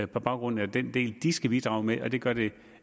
baggrund af den del de skal bidrage med og det gør det